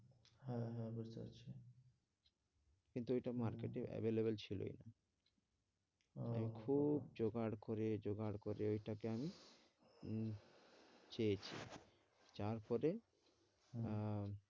কিন্তু ঐটা market এ available ছিলই ও খুব জোগাড় করে জোগাড় করে এটাকে আমি উম চেয়েছি চাওয়ার পরে আহ